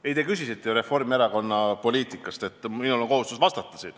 Ei, te küsisite ju Reformierakonna poliitika kohta ja minul on kohustus vastata.